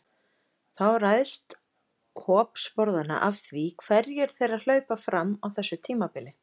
Þó ræðst hop sporðanna af því hverjir þeirra hlaupa fram á þessu tímabili.